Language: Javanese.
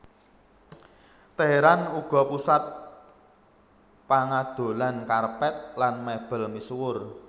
Teheran uga pusat pangadolan karpet lan mebel misuwur